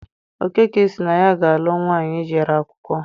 Okeke sị na ya ga-alụ nwaanyị jere akwụkwọ.